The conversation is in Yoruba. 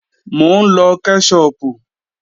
Mò ń lọ kẹ́ṣọpù